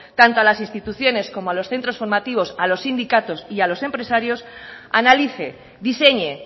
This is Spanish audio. tanto a las instituciones como a los centros formativos a los sindicatos y a los empresarios analice diseñe